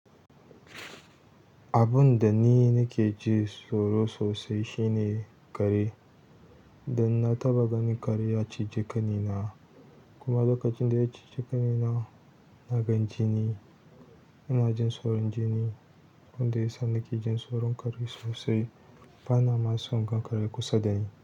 Abun da ni nake ji tsoro sosai shine kare. Dan na taɓa ganin kare ya cije ƙanina kuma lokacin da ya cije ƙanina, na gan jini. Inajin tsoron jini abinda yasa nakejin tsiron kare sosai bana ma son gan kare kusa da ni.